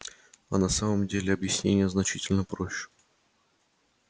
а на самом деле объяснение значительно проще